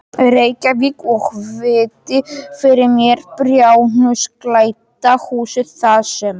Reykjavík og virti fyrir mér bárujárnsklædda húsið þar sem